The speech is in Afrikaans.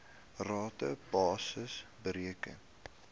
rata basis bereken